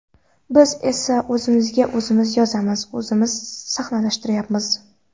Biz esa o‘zimizga o‘zimiz yozamiz, o‘zimiz sahnalashtiryapmiz.